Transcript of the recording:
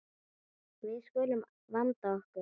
Við skulum vanda okkur.